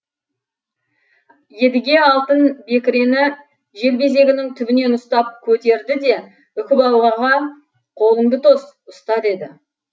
едіге алтын бекірені желбезегінің түбінен ұстап көтерді де үкібалаға қолыңды тос ұста деді